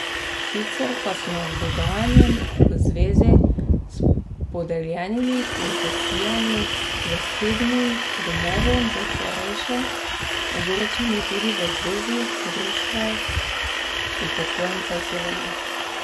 Sicer pa so nad dogajanjem v zvezi s podeljenimi koncesijami zasebnim domovom za starejše ogorčeni tudi v Zvezi društev upokojencev Slovenije.